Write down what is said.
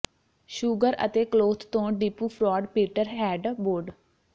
sugar ਅਤੇ cloth ਤੋਂ depot fraud Peter head board